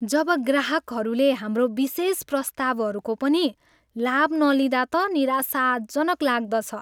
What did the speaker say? जब ग्राहकहरूले हाम्रो विशेष प्रस्तावहरूको पनि लाभ नलिँदा त निराशाजनक लाग्दछ।